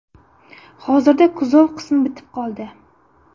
Hozirda kuzov qismi bitib qoldi.